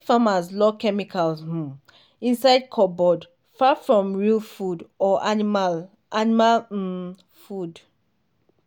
farmers lock chemicals um inside cupboard far from real food or animal animal um food.